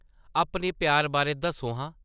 अपने प्यार बारै दस्सो हां ।